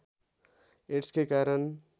एड्सकै कारण